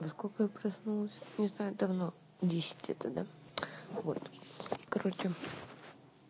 во сколько я проснулась не знаю давно в десять где-то да вот короче